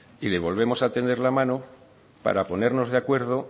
y le volvemos a tender la mano para ponernos de acuerdo